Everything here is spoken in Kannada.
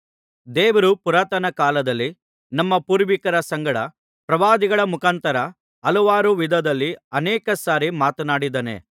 ದೇವರು ಪುರಾತನ ಕಾಲದಲ್ಲಿ ನಮ್ಮ ಪೂರ್ವಿಕರ ಸಂಗಡ ಪ್ರವಾದಿಗಳ ಮುಖಾಂತರ ಹಲವಾರು ವಿಧದಲ್ಲಿ ಅನೇಕಸಾರಿ ಮಾತನಾಡಿದ್ದಾನೆ